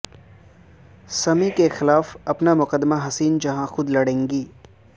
سمیع کیخلاف اپنا مقدمہ حسین جہاں خود لڑیں گی